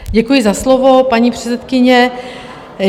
Děkuji za slovo, paní předsedkyně.